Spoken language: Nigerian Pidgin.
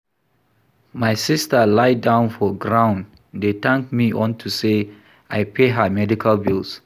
My sister lie down for ground dey thank me unto say I pay her medical bills